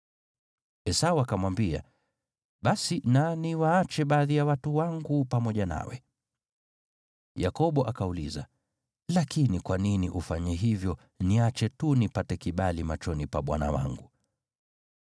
Esau akamwambia, “Basi na niwaache baadhi ya watu wangu pamoja nawe.” Yakobo akauliza, “Lakini kwa nini ufanye hivyo, niache tu nipate kibali machoni pa bwana wangu.”